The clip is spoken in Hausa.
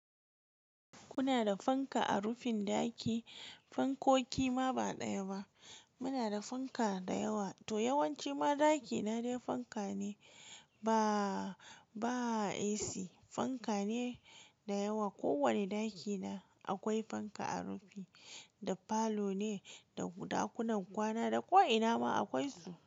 Kuna da fanka a rufin ɗaki? Fankoki ma ba ɗaya ba. Muna da fanka da yawa to yawanci ma ɗaki na dai fanka ne ba, ba AC fanka ne da yawa. Ko wane ɗakina akwai fanka a rufi. Da falo ne, da ɗakunan kwana da ko ina ma akwai su.